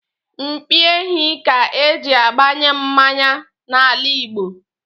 Mpi ehi ka-eji agbanye mmanya n'ala Igbo.